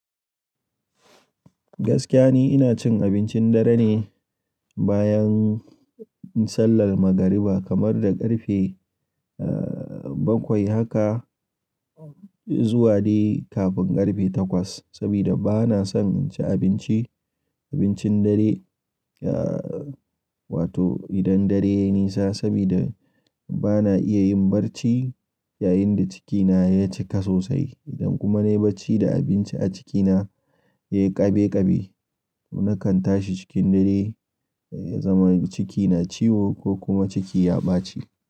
Gaskiya ni ina cin abincin dare ne bayan sallar magariba kamar da ƙarfe bakwai haka zuwa dai kafin ƙarfe takwas. Saboda bana son inci abinci, abincin dare ya wato idan dare ya yi nisa saboda bana iya yin barci yayinda cikina ya cika sosai. Idan kuma na yi barci da abinci a cikina ya yi ƙabe ƙabe to nakan tashi cikin dare ya zama cikina ciwo ko kuma ciki ya ɓaci.